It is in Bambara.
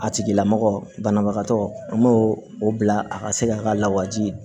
A tigilamɔgɔ banabagatɔ an b'o o bila a ka se ka lawaji